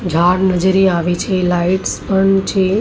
ઝાડ નજરે આવે છે. લાઈટ્સ પણ છે.